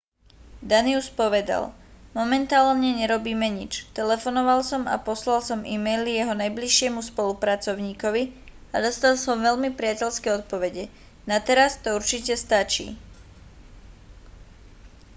danius povedal momentálne nerobíme nič telefonoval som a poslal som e-maily jeho najbližšiemu spolupracovníkovi a dostal som veľmi priateľské odpovede nateraz to určite stačí